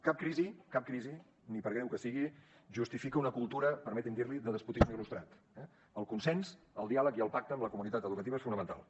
cap crisi cap crisi ni per greu que sigui justifica una cultura permeti’m dir l’hi de despotisme il·lustrat eh el consens el diàleg i el pacte amb la comunitat educativa són fonamentals